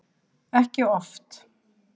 Ekki oft.